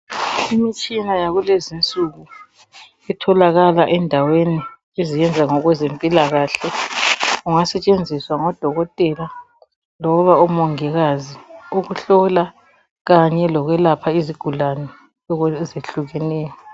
Imitshina yakulezinsuku etholakakala endaweni ezenza okwezempilakahle. Kungasetshenziswa ngodokokotela loba omongikazi. Ukuhlola Kanye lokwelapha izigulane ezehlukeneyo.